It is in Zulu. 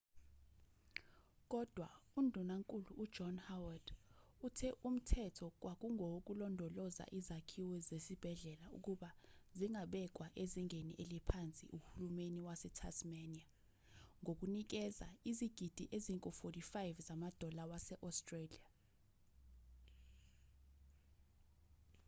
kodwa undunankulu ujohn howard uthe umthetho kwakungowokulondoloza izakhiwo zesibhedlela ukuba zingabekwa ezingeni eliphansi uhulumani wasetasmania ngokunikeza izigidi engu-aud$45